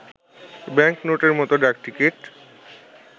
bank নোটের মত ডাকটিকিট